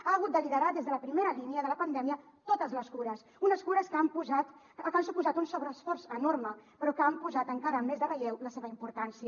ha hagut de liderar des de la primera línia de la pandèmia totes les cures unes cures que han suposat un sobreesforç enorme però que han posat encara més de relleu la seva importància